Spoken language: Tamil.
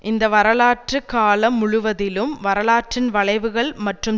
இந்த வரலாற்று காலம் முழுவதிலும் வரலாற்றின் வளைவுகள் மற்றும்